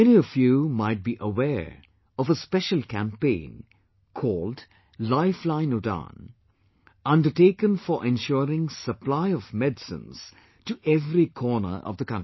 Many of you might be aware of a special campaign called 'Lifeline Udan' undertaken for ensuring supply of medicines to every corner of the country